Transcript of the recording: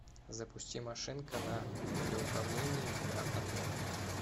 запусти машинка на радиоуправлении в бильярдном зале